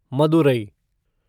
Madurai